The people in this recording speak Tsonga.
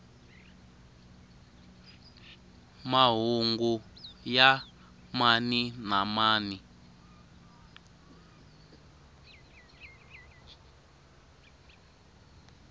mahungu ya mani na mani